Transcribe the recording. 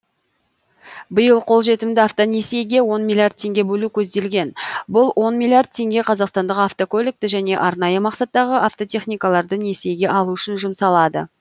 биыл қолжетімді автонесиеге он миллиард теңге бөлу көзделген бұл он миллиард теңге қазақстандық автокөлікті және арнайы мақсаттағы автотехникаларды несиеге алу үшін жұмсалады